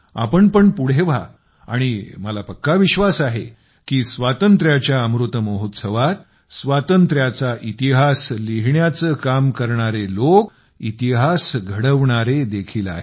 आपण पण पुढे व्हा आणि मला पक्का विश्वास आहे की स्वातंत्र्याचा इतिहास लिहिण्याचे काम करणारे लोक इतिहास घडवणारे देखील आहेत